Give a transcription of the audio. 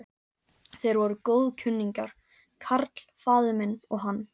Þeir voru góðkunningjar, karl faðir minn og hann.